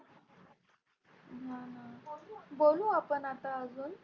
बोलू आपण आता अजून